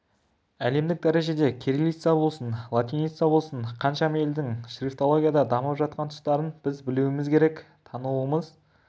әлемдік дәрежеде кириллица болсын латиница болсын қаншама елдің шрифтологияда дамып жатқан тұстарын біз білуіміз керек тануымыз